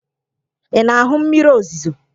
Ị na-ahụ mmiri ozuzo?